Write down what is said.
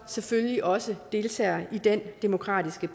selvfølgelig også deltager i den demokratiske